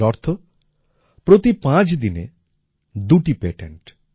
এর অর্থ প্রতি পাঁচ দিনে দুটি পেটেন্ট